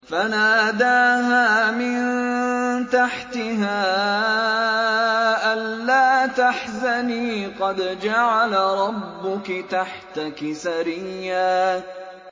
فَنَادَاهَا مِن تَحْتِهَا أَلَّا تَحْزَنِي قَدْ جَعَلَ رَبُّكِ تَحْتَكِ سَرِيًّا